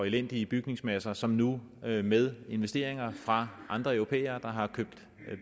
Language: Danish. elendig bygningsmasse og som nu med med investeringer fra andre europæere der har opkøbt